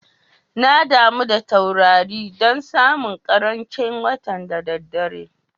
Na damu da taurari dan suna karamce watan'da dare.